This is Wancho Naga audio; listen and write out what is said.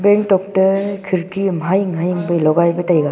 bing tok te khirki am hahing hahing phai logai pa taiga.